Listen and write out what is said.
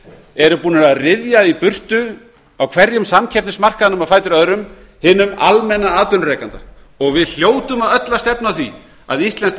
eru búnir að ryðja í burtu á hverjum samkeppnismarkaðnum á fætur öðrum hinum almenna atvinnurekanda við hljótum öll að stefna að því að íslenskt